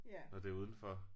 Når det udenfor